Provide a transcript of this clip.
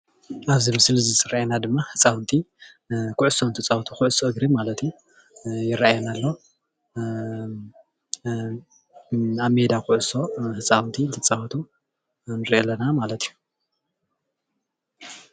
ኣብዚ ምስሊ እዚ ዝረአየና ድማ ህፃውንቲ ኩዕሶ እንትፃወቱ ኩዕሶ እግሪ ማለት እዩ ይረአየና ኣሎ፣ ኣብ ሜዳ ኩዕሶ ህፃውንቲ እንትፃወቱ ንርኢ ኣለና ማለት እዩ፡፡